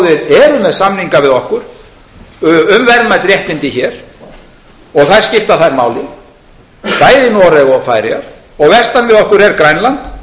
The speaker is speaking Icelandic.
með samninga við okkur um verðmæt réttindi hér og þau skipta þær máli bæði noreg og færeyjar og vestan við okkur er grænland